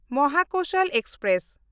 Mahakoshal express